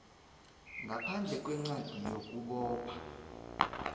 ngaphandle kwencwadi yokubopha